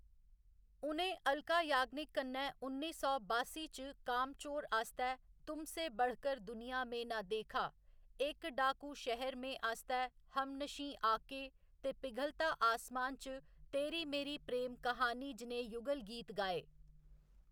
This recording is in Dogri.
उ'नें अलका याग्निक कन्नै उन्नी सौ बासी च 'कामचोर' आस्तै 'तुमसे बढ़कर दुनिया में ना देखा ', एक डाकू शहर में आस्तै 'हमनर्शी आके' ते पिघलता आसमान च 'तेरी मेरी प्रेम कहानी' जनेह्‌ युगल गीत गाए।